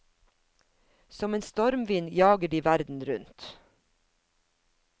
Som en stormvind jager de verden rundt.